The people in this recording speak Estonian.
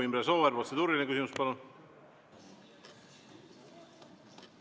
Imre Sooäär, protseduuriline küsimus, palun!